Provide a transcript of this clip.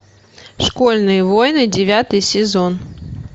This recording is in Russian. школьные войны девятый сезон